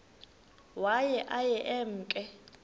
waye aye emke